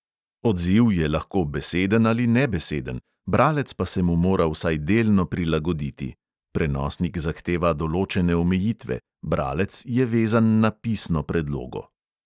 Odziv je lahko beseden ali nebeseden, bralec pa se mu mora vsaj delno prilagoditi (prenosnik zahteva določene omejitve: bralec je vezan na pisno predlogo).